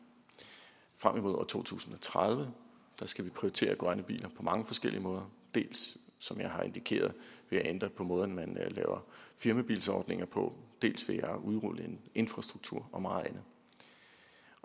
frem imod år to tusind og tredive skal vi prioritere grønne biler på mange forskellige måder dels som jeg har indikeret ved at ændre på måden man laver firmabilsordninger på dels ved at udrulle en infrastruktur og meget andet